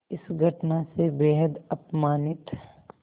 इस घटना से बेहद अपमानित